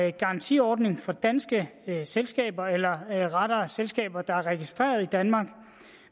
en garantiordning for danske selskaber eller rettere selskaber der er registreret i danmark